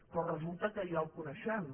però resulta que ja el coneixem